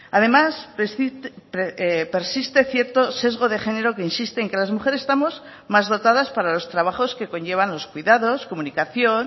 además persiste cierto sesgo de género que insiste en que las mujeres estamos más dotadas para los trabajos que conllevan los cuidados comunicación